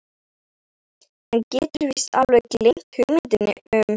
Hann getur víst alveg gleymt hugmyndinni um